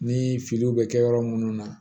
Ni filiw bɛ kɛ yɔrɔ minnu na